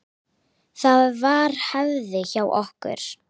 Það var hefð hjá okkur.